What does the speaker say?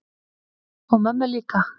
Og mömmu líka.